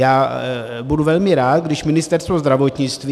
Já budu velmi rád, když Ministerstvo zdravotnictví...